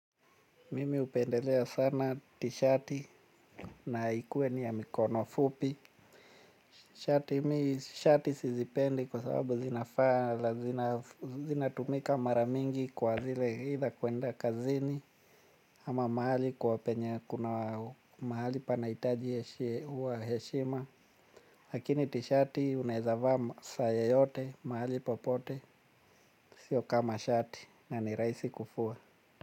Mimi hupendelea sana tishati na ikuwe ni ya mikono fupi. Shati sizipendi kwa sababu zinafaa zinatumika mara mingi kwa zile aitha kwenda kazini. Ama mahali kwa penye kuna mahali panahitaji heshima. Lakini tishati unaweza vaa masaa yoyote mahali popote siyo kama shati na ni rahisi kufua.